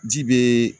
Ji be